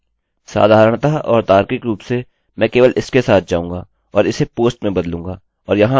चलिए मैं आपको अपना post पेज दिखाता हूँ